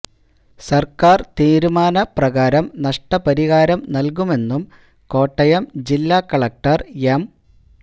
സര്ക്കാര് തീരുമാന പ്രകാരം നഷ്ടപരിഹാരം നല്കുമെന്നും കോട്ടയം ജില്ലാ കളക്ടര് എം